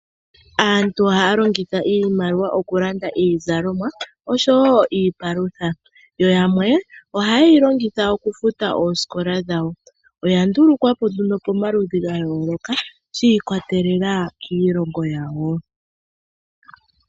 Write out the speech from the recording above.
Aantu ohaya longitha iimaliwa oku landa iizalomwa oshowo iipalutha, yo yamwe ohaye yi longitha oku futa oosikola dhawo. Oya ndulukwa po nduno pamaludhi ga yooloka shi ikwatelela kiilongo yawo.